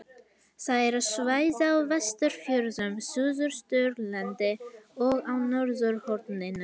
Það eru svæði á Vestfjörðum, Suðausturlandi og á norðausturhorninu.